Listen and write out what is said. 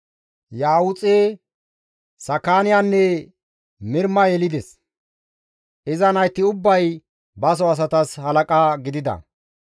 Ya7uuxe, Saakiyanne Mirma yelides; iza nayti ubbay baso asatas halaqa gidida.